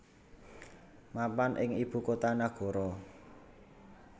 mapan ing ibu kota nagara